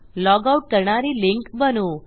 log out करणारी link बनवू